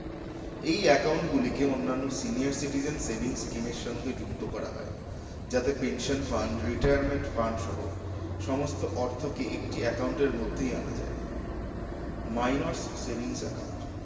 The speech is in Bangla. এই account গুলিকে অন্যান্য senior citizen savings scheme এর সঙ্গে যুক্ত করা হয় যাতে pension fund retirement fund সহ সমস্ত অর্থকে একটি account এর মধ্যেই আনা যায় minors savings account